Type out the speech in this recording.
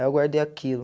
Aí eu guardei aquilo.